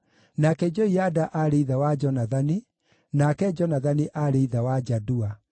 nake Joiada aarĩ ithe wa Jonathani, nake Jonathani aarĩ ithe wa Jadua.